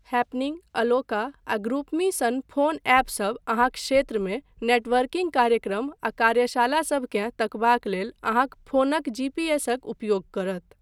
Happening, अलोका आ ग्रुपमी सन फोन ऐपसभ अहाँक क्षेत्रमे नेटवर्किंग कार्यक्रम आ कार्यशालासभकेँ तकबाक लेल अहाँक फोनक जीपीएसक उपयोग करत।